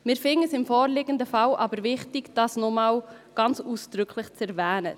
Wir finden es im vorliegenden Fall aber wichtig, dies nochmals ausdrücklich zu erwähnen.